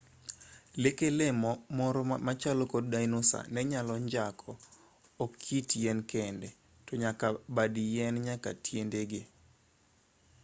leke lee moro machalo kod dinosa nenyalo njako ok it yien kende tonyaka bad yien nyaka tiendege